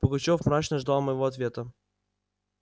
пугачёв мрачно ждал моего ответа